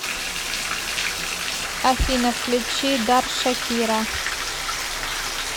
афина включи дар шакира